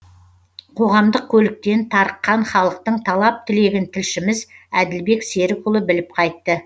қоғамдық көліктен тарыққан халықтың талап тілегін тілшіміз әділбек серікұлы біліп қайтты